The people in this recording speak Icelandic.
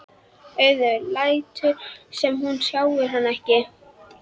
Auður lætur sem hún sjái hana ekki.